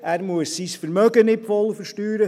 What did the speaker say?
Er muss sein Vermögen nicht voll versteuern.